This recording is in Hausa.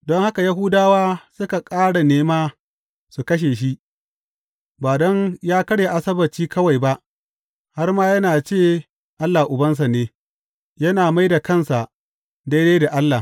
Don haka Yahudawa suka ƙara nema su kashe shi; ba don yă karya Asabbaci kawai ba, har ma yana ce Allah Ubansa ne, yana mai da kansa daidai da Allah.